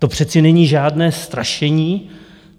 To přece není žádné strašení.